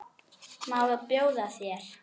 Má bjóða þér?